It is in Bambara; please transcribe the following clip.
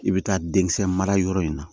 I bɛ taa denkisɛ mara yɔrɔ in na